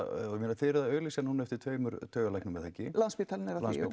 og þið eruð að auglýsa núna eftir tveimur taugalæknum Landspítalinn